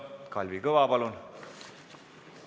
Kalvi Kõva, palun!